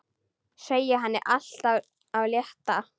Segja henni allt af létta.